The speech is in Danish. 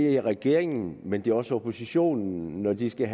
er regeringen men jo også oppositionen når den skal